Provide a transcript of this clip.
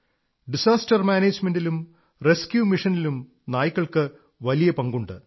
disaster മാനേജ്മെന്റിലും rescue മീഷനിലും നായ്ക്കൾക്കു വലിയ പങ്കുണ്ട്